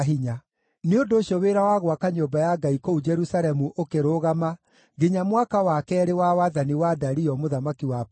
Nĩ ũndũ ũcio, wĩra wa gwaka nyũmba ya Ngai kũu Jerusalemu ũkĩrũgama nginya mwaka wa keerĩ wa wathani wa Dario mũthamaki wa Perisia.